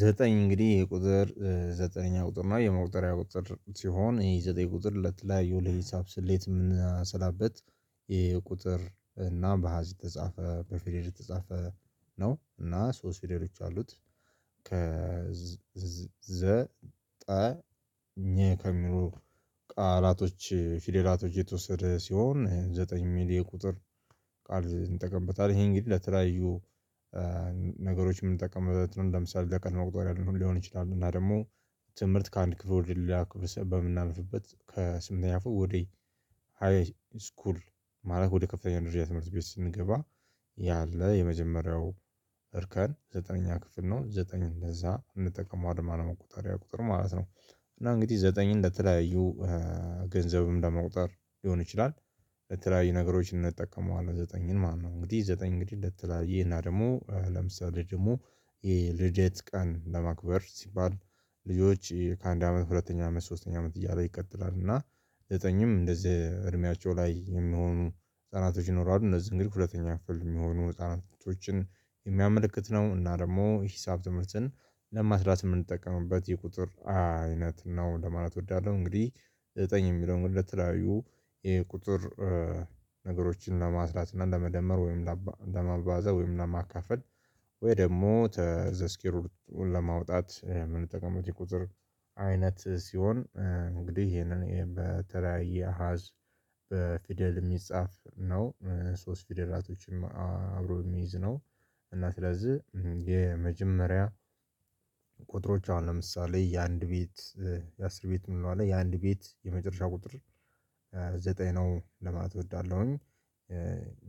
ዘጠኝ እንግዲህ የቁጥር ዘጠነኛ ቁጥር ነው የመቁጠሪያ ቁጥር ሲሆን የዘጠኝ ቁጥር ለተለያዩ ለሂሳብ ስሌት የምንሰላበት የቁጥር እና በአሀዝ የተጻፈ በፊደል የተጻፈ ነው እና ሶስት ፊደሎች አሉት። ከዘጠኝ ከሚሉ ቃላቶች ፊደላቶች የተወሰደ ሲሆን ዘጠኝ እሚል የቁጥር ቃል እንጠቀምበታለን። ይሄ እንግዲህ ለተለያዩ ነገሮች የምንጠቀምበት ነው። እንደ ምሳሌ ለቀን መቁጠርያ ሊሆን ይችላል። እና ደግሞ ትምህርት ከአንድ ክፍል ወደ ሌላ ክፍል በምናልፍበት ከስምንተኛ ክፍል ወደ ሃይ ስኩል ማለት ወደ ከፍተኛ ደረጃ ትምህርት ቤት ስንገባ ያለ የመጀመሪያው እርከን ዘጠነኛ ክፍል ነው። ዘጠኝ እንደዛ እንጠቀማዋለን ማለት ነው። መቁጠሪያ ቁጥር ማለት ነው። እና እንግዲህ ዘጠኝን ለተለያዩ ገንዘብም ለመቁጠር ሊሆን ይችላል ለተለያዩ ነገሮች እንጠቀመዋለን ዘጠኝን ማለት ነው። እንግዲህ ዘጠኝ እንግዲህ ለተላያየ እና ደግሞ ለምሳሌ ደግሞ ይሄ ልደት ቀን ለማክበር ሲባል ልጆች ከአንድ አመት ሁለተኛ አመት ሶስተኛ አመት እያለ ይቀጥላል። እና ዘጠኝም እንደዚህ እድሜያቸው ላይ የሚሆኑ ህፃናቶች ይኖራሉ። እንደዚህ እንግዲህ ሁለተኛ ክፍል የሚሆኑ ህፃናቶችን የሚያመለክት ነው። እና ደግሞ ሂሳብ ትምህርትን ለማስላት እምንጠቀምበት የቁጥር አይነት ነው ለማለት እወዳለሁ። እንግዲህ ዘጠኝ የሚለውን ለተለያዩ የቁጥር ነገሮችን ለማስላት እና ለመደመር ወይም ለማባዛት ወይም ለማካፈል ወይ ደግሞ ተ ዘስኬር ሩት ለማውጣት የምንጠቀመው የቁጥር አይነት ሲሆን እንግዲህ ይሄንን በተለያየ አሀዝ በፊደል እሚጻፍ ነው። ሶስት ፊደላቶችም አብሮ እሚይዝ ነው። እና ስለዚህ የመጀመሪያ ቁጥሮች አሁን ለምሳሌ የአንድ ቤት የአስር ቤት ምንለው አለ የአንድ ቤት የመጨረሻ ቁጥር ዘጠኝ ነው። ለማለት እወዳለሁኝ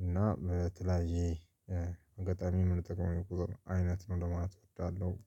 እና በተለያየ አጋጣሚ ምንጠቀመው የቁጥር አይነት ነው ለማለት እወዳለሁ